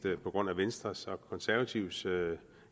på grund af venstres og konservatives